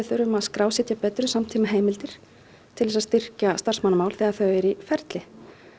þurfum að skrásetja betur í samtímaheimildir til þess að styrkja starfsmannamál þegar þau eru í ferli